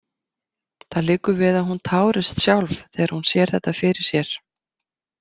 Það liggur við að hún tárist sjálf þegar hún sér þetta fyrir sér.